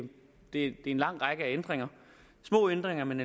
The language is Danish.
er en lang række af ændringer små ændringer man